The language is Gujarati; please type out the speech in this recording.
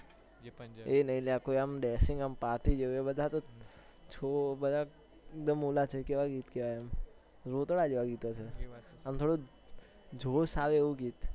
એ નઈ અલ્યા કોઈ dashingparty જેવું એ બધા તો પેહલા રોતડા જેવા ગીત છે આમ થોડા જોશ આવે એવું ગીત